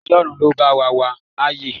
Ọlọ́run ló bá wa wà á yè